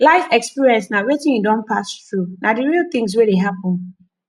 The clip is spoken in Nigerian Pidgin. life experience na wetin you don pass through na di real things wey dey happen